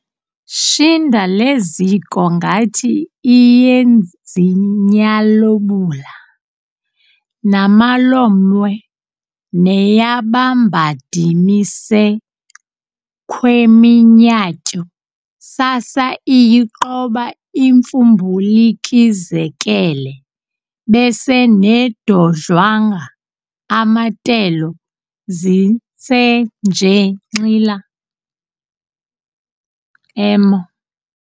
Shinda leziko ngathi iYenzinyalobula, nama lomwe neYaBambadimisek'khweminyatyo sasa iYiqoba imfumbulikizekele bese nedodlwanga amatelo zinsenjengxila emo